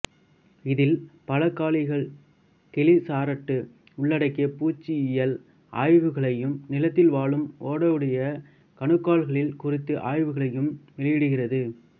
இதில் பலகாலிகள் கெலிசராட்டு உள்ளடக்கிய பூச்சியியல் ஆய்வுகளையும் நிலத்தில் வாழும் ஓடுடைய கணுக்காலிகள் குறித்த ஆய்வுகளையும் வெளியிடுகிறது